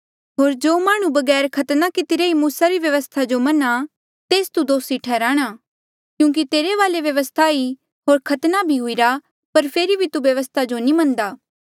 होर जो माह्णुं बगैर खतने कितरे ही मूसा री व्यवस्था जो मना तेस तू दोसी ठैहराणा क्यूंकि तेरे वाले व्यवस्था ई होर खतना भी हुईरा पर फेरी भी तू व्यवस्था जो नी मनदा